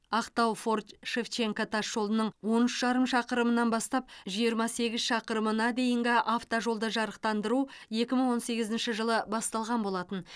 ақтау форт шевченко тас жолының он үш жарым шақырымынан бастап жиырма сегіз шақырымына дейінгі автожолды жарықтандыру екі мың он сегізінші жылы басталған болатын